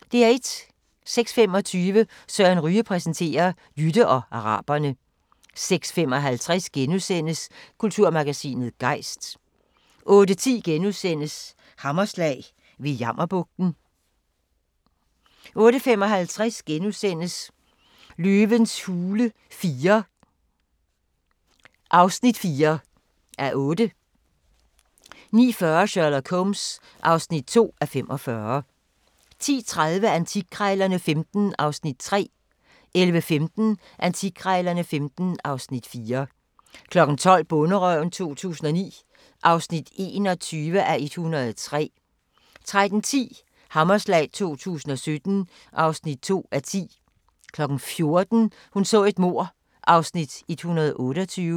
06:25: Søren Ryge præsenterer: Jytte og araberne 06:55: Kulturmagasinet Gejst * 08:10: Hammerslag – ved Jammerbugten * 08:55: Løvens hule IV (4:8)* 09:40: Sherlock Holmes (2:45) 10:30: Antikkrejlerne XV (Afs. 3) 11:15: Antikkrejlerne XV (Afs. 4) 12:00: Bonderøven 2009 (21:103) 13:10: Hammerslag 2017 (2:10) 14:00: Hun så et mord (128:267)